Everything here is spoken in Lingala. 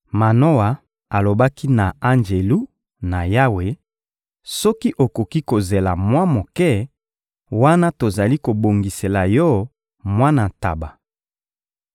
Manoa alobaki na Anjelu na Yawe: — Soki okoki kozela mwa moke, wana tozali kobongisela yo mwana ntaba.